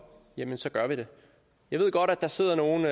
jamen så gør vi det jeg ved godt der sidder nogle